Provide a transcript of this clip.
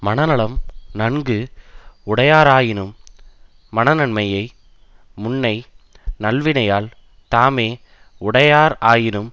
மனநலம் நன்கு உடையாராயினும் மனநன்மையை முன்னை நல்வினையால் தாமே உடையார் ஆயினும்